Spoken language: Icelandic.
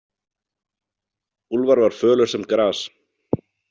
Úlfar var fölur sem gras.